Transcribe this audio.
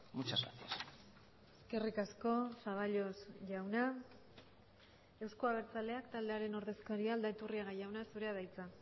muchas gracias eskerrik asko zaballos jauna euzko abertzaleak taldearen ordezkaria aldaiturriaga jauna zurea da hitza